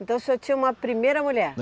Então o senhor tinha uma primeira mulher?